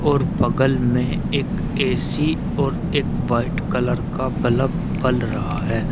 और बगल में एक ऐ_सी और एक व्हाइट कलर का बलफ बल रहा है।